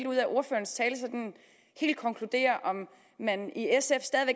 ud af ordførerens tale sådan helt konkludere om man i sf stadig